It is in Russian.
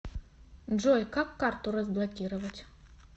джой как карту разблокировать